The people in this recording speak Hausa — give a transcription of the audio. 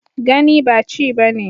Gani ba ci bane